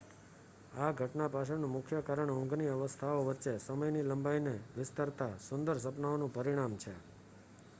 આ ઘટના પાછળનું મુખ્ય કારણ ઊંઘની અવસ્થાઓ વચ્ચે સમયની લંબાઈને વિસ્તારતા સુંદર સપનાઓનું પરિણામ છે